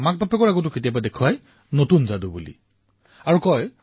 পৰিয়ালৰ পিতৃমাতৃৰ সন্মুখতো মই আজি নতুন যাদু দেখুৱাইছো বুলি কয়